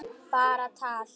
Bara tal.